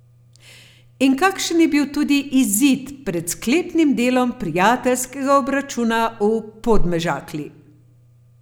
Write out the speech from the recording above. In takšen je bil tudi izid pred sklepnim delom prijateljskega obračuna v Podmežakli.